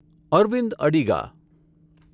Arvind Adiga